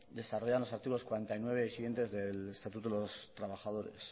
desarrollan los artículos cuarenta y nueve y siguientes del estatuto de los trabajadores